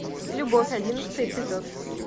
любовь одиннадцатый эпизод